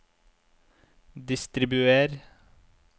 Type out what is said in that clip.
distribuer